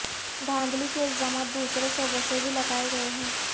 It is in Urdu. دھاندلی کے الزامات دوسرے صوبوں سے بھی لگائے گئے ہیں